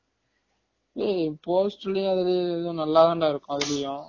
ஏய் poster லையும் அதுலயும் இதுலையும் நல்லா தான் டா இருக்கும் அதுலயும்